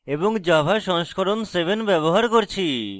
এবং java সংস্করণ 7 ব্যবহার করছি